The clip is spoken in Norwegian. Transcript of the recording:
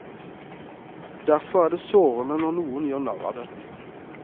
Derfor er det sårende når noen gjør narr av det.